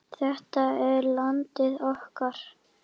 Þetta er landið okkar.